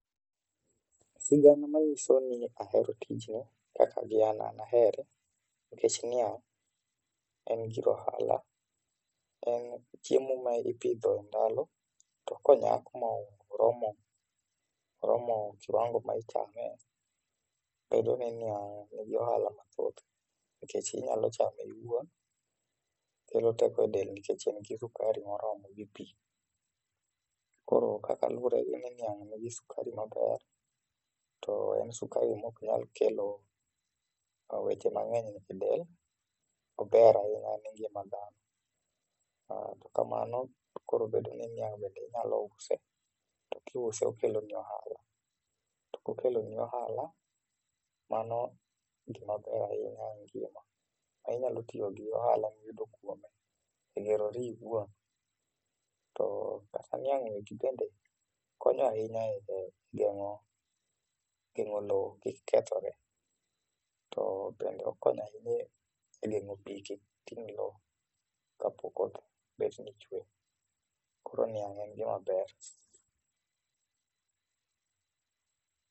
sigana manyiso ni ahero tijni kaka gi an an ahere nikech niya en gir ohala en chiemo ma ipidho e ndalo to ka onyak ma oromo kiwango ma ichame, bedo ni niang nigi ohala mathoth nikech inyalo chame in iwuon ,okelo teko e del nikech en gi sukari moromo gi pii, koro kaka luwore ni niang nigi sukari maber to en sukari maok nyalo kelo weche mangeny e del ,ober ahinya ne ngima dhano kamano to koro bedo ni niang bende inyalo use to kiuse okelo ni ohala to kokelo ni ohala mano gima ber ahinya e ngima. inyalo tiyo gi ohala ma iyudo kuome e gerori iwuon to kata niang'ni bende konyo ahinya e gengo loo kik kethre to bendo okonya ahinya e gengo pii kik ting loo kapo koth betni chwe, koro niang' en gima ber.